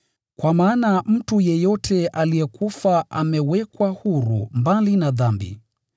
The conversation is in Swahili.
Kwa maana mtu yeyote aliyekufa amehesabiwa haki mbali na dhambi.